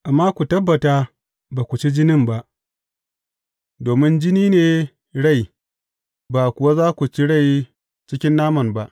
Amma ku tabbata ba ku ci jinin ba, domin jini ne rai, ba kuwa za ku ci rai cikin naman ba.